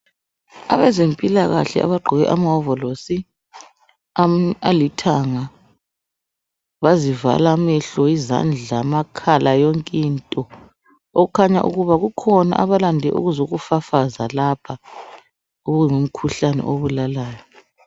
Abezempilakahle abagqoke amawovolosi alithanga bazivala amehlo izandla amakhala yonkinto okukhanya ukuba kukhona abalande ukuzokufafaza lapha okungumkhuhlane obulalayo.